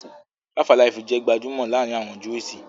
"Fivealive" jẹ́ gbajúmọ̀ laarin awọn Juísì